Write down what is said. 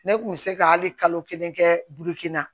Ne kun bɛ se ka hali kalo kelen kɛ burukina